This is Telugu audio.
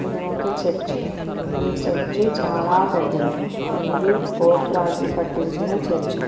ఇదొక చర్చి ఈ చర్చి చాలా పెద్దది ఇది పోప్ రాజులు కట్టించిన చర్చ్ .